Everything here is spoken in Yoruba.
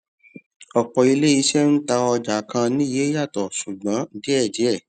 ọpọ ilé iṣẹ ń tà ọjà kan ní iye yàtọ ṣùgbọn díẹdíẹ